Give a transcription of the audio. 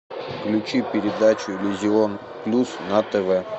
включи передачу иллюзион плюс на тв